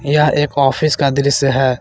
यह एक ऑफिस का दृश्य है।